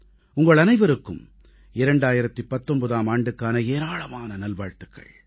உங்களனைவருக்கும் 2019ஆம் ஆண்டுக்கான ஏராளமான நல்வாழ்த்துக்கள்